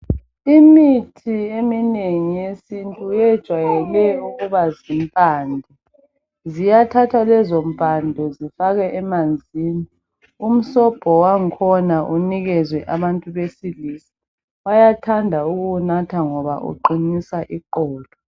Imithi eminengi yesintu yejwayele ukuba zimpande. Ziyathathwa lezompande zifakwe emanzini. Umsobho wangkhona unikezwe abantu besilisa. Bayathanda ukuwunatha ngoba uqinisa iqolo.